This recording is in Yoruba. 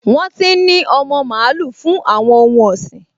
Wọ́n ti n ní ọmọ mààúlù fún àwọn ohun ọ̀sìn